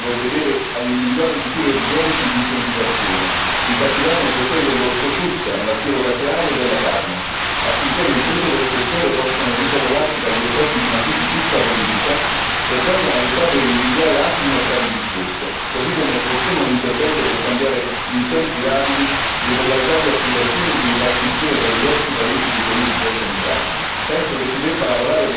È evidente quindi l'urgenza di provvedere ad individuare misure urgenti di incentivazione, in particolare nei settori dell'ortofrutta, lattiero caseario e della carne, affinché le imprese del settore possano risollevarsi dagli effetti di una crisi tutta politica e vengano aiutate ad individuare altri mercati di sbocco, così come è opportuno un intervento per cambiare in tempi rapidi le modalità di applicazione e di ripartizione tra i diversi paesi degli aiuti già stanziati.